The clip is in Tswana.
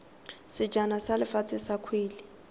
sejana sa lefatshe sa kgwele